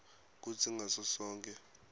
kutsi ngaso sonkhe